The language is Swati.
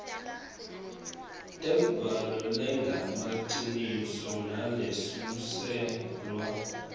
tembhalo lengemaciniso nalesuselwa